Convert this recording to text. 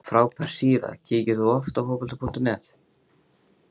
frábær síða Kíkir þú oft á Fótbolti.net?